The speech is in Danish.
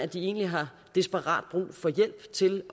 de egentlig har desperat brug for hjælp til